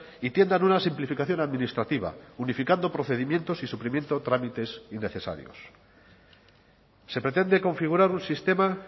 y tiendan una simplificación administrativa unificando procedimientos y suprimiendo trámites innecesarios se pretende configurar un sistema